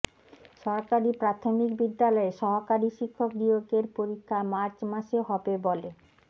সরকারি প্রাথমিক বিদ্যালয়ে সহকারী শিক্ষক নিয়োগের পরীক্ষা মার্চ মাসে হবে বলে